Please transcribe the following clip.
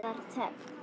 Það var þögn.